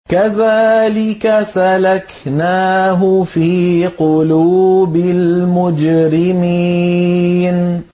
كَذَٰلِكَ سَلَكْنَاهُ فِي قُلُوبِ الْمُجْرِمِينَ